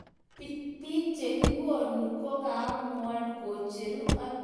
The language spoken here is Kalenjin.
Biik che kimokani koamuan kocheru atindonde akenge amu kikimeche tama ak muut.